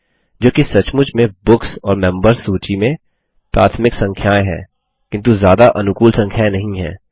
जोकि सचमुच में बुक्स और मेंबर्स सूची में प्राथमिक संख्याएँ हैं किन्तु ज़्यादा अनुकूल संख्याएँ नहीं हैं